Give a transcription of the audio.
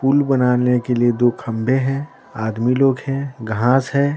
पुल बनाने के लिए दो खम्बे हैं आदमी लोग हैं घास है ।